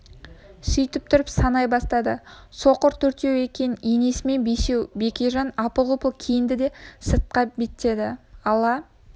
сөйтіп тұрып санай бастады соқыр төртеу екен енесімен бесеу бекежан апыл-ғұпыл киінді де сыртқа беттеді ала